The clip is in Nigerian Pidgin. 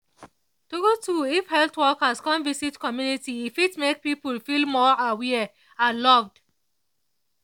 true true if health workers come visit community e fit make people feel more aware and loved